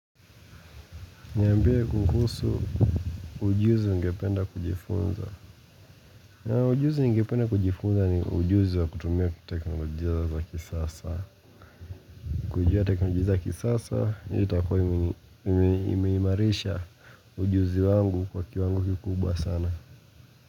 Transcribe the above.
Niambie kuhusu ujuzi ungependa kujifunza. Ujuzi ningependa kujifunza ni ujuzi wa kutumia teknolojia za kisasa. Kujua teknolojia za kisasa, itakua imeimarisha ujuzi wangu kwa kiwango kikubwa sana.